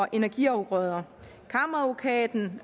af energiafgrøder kammeradvokaten